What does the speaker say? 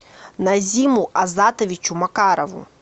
назиму азатовичу макарову